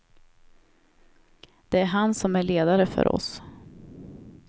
Det är han som är ledare för oss.